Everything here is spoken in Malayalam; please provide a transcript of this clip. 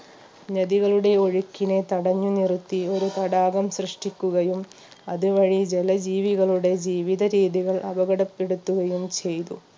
നദികളുടെ ഒഴുക്കിനെ തടഞ്ഞു നിർത്തി തടാകം സൃഷ്ടിക്കുകയും അതുവഴി ജലജീവികളുടെ ജീവിത രീതികൾ അപകടപ്പെടുത്തുകയും ചെയ്തു